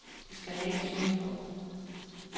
De skal nægtes nye lån.